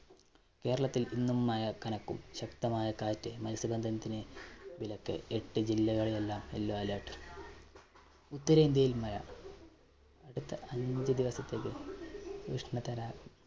കേരളത്തില്‍ ഇന്നും മഴ കനക്കും. ശക്തമായ കാറ്റ്, മത്സ്യബന്ധനത്തിന് വിലക്ക്. എട്ട് ജില്ലകളിലെല്ലാം yellow alert. ഉത്തരേന്ത്യയില്‍ മഴ അടുത്ത അഞ്ചു ദിവസത്തേക്ക് ഉഷ്ണതര